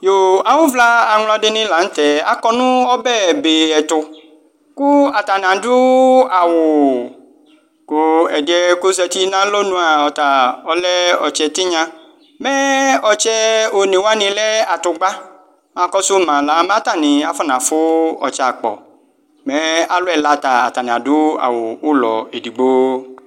Awʋvla aŋladini la nʋte akɔ nʋ ɔbɛ be ɛtʋ kʋ atani adʋ awʋ kʋ ɛd yɛ kʋ azatii nʋ alɔnʋa ɔta ɛlɛ ɔtse tinya mɛ ɔtsɛ one wani taa lɛ atʋgba mɛ akɔsʋ mala mɛ atani afɔ nafʋ ɔtse akpɔ mɛ alʋ ɛla ta atani adʋ awʋ ʋlɔ edigbo